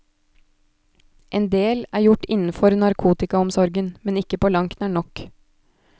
Endel er gjort innenfor narkotikaomsorgen, men ikke på langt nær nok.